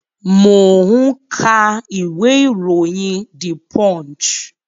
Mo ń ka ìwé iroyin "The Punch".